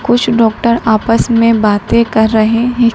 कुछ डॉक्टर आपस में बातें कर रहे हैं।